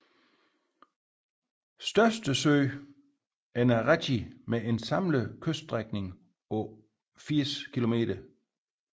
Største sø er Naratj med en samlet kyststrækning på 80 km